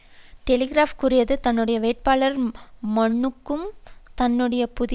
Telegraph கூறியது தன்னுடைய வேட்பாளர் மனுக்கும் தன்னுடைய புதிய பிரான்ஸ் பற்றிய